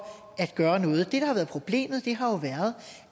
at gøre noget det der har været problemet har været